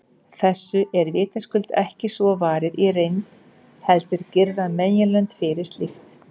Þessu er vitaskuld ekki svo varið í reynd, heldur girða meginlönd fyrir slíkt.